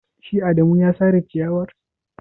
Shi adamu ya sare ciyawar.